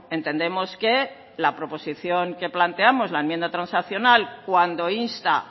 entendemos que la proposición que planteamos la enmienda transaccional cuando insta